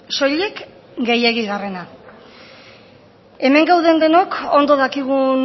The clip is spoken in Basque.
soilik gehiegigarrena hemen gaude denok ondo dakigun